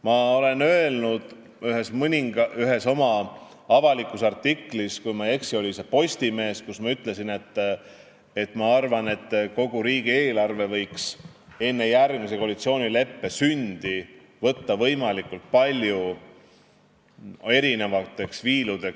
Ma olen öelnud ühes oma avalikus artiklis – kui ma ei eksi, oli see Postimehes –, et ma arvan, et kogu riigieelarve võiks enne järgmise koalitsioonileppe sündi võimalikult palju viiludeks lahti võtta.